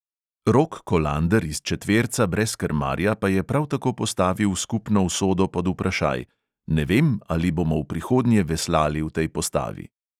Rok kolander iz četverca brez krmarja pa je prav tako postavil skupno usodo pod vprašaj: "ne vem, ali bomo v prihodnje veslali v tej postavi."